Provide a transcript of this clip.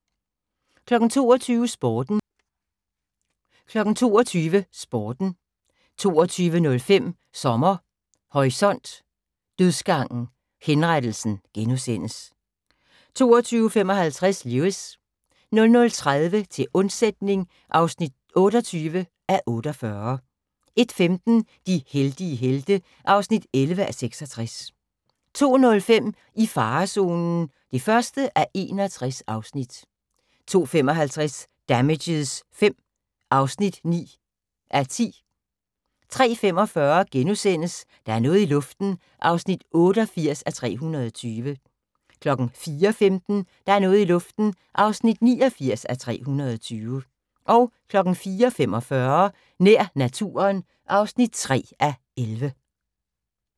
22:00: Sporten 22:05: Sommer Horisont: Dødsgangen - Henrettelsen * 22:55: Lewis 00:30: Til undsætning (28:48) 01:15: De heldige helte (11:66) 02:05: I farezonen (1:61) 02:55: Damages V (9:10) 03:45: Der er noget i luften (88:320)* 04:15: Der er noget i luften (89:320) 04:45: Nær naturen (3:11)